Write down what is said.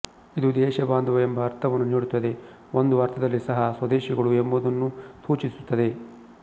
ಇದು ದೇಶಬಾಂಧವ ಎಂಬ ಅರ್ಥವನ್ನು ನೀಡುತ್ತದೆ ಒಂದು ಅರ್ಥದಲ್ಲಿ ಸಹ ಸ್ವದೇಶಿಗಳು ಎಂಬುದನ್ನೂ ಸೂಚಿಸುತ್ತದೆ